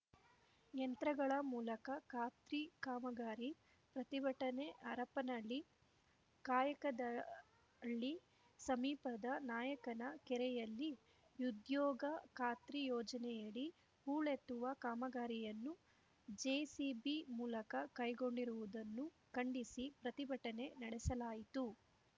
ಯಂತ್ರಗಳ ಮೂಲಕ ಖಾತ್ರಿ ಕಾಮಗಾರಿ ಪ್ರತಿಭಟನೆ ಹರಪನಹಳ್ಳಿ ಕಾಯಕದಹಳ್ಳಿ ಸಮೀಪದ ನಾಯಕನ ಕೆರೆಯಲ್ಲಿ ಉದ್ಯೋಗ ಖಾತ್ರಿ ಯೋಜನೆಯಡಿ ಹೂಳೆತ್ತುವ ಕಾಮಗಾರಿಯನ್ನು ಜೆಸಿಬಿ ಮೂಲಕ ಕೈಗೊಂಡಿರುವುದನ್ನು ಖಂಡಿಸಿ ಪ್ರತಿಭಟನೆ ನಡೆಸಲಾಯಿತು